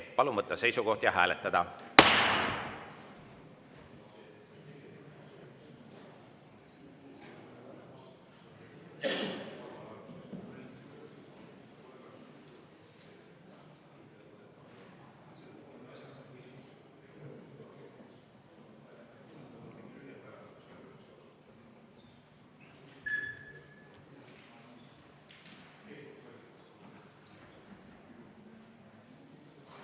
Palun võtta seisukoht ja hääletada!